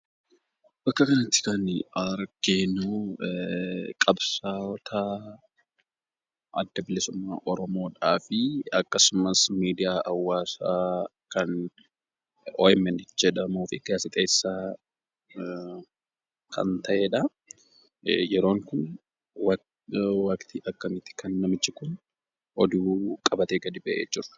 Bakka kanatti, kan arginu qabsaa'oota adda bilisummaa oromoodhafi, akkasumas, miidiyaa haawasa, kan OMN jedhamun, gaasiixeessa kan ta'edha. yeroon kun waqtii akkamiidha, kan namichi kun oduu qabatee gadi ba'e.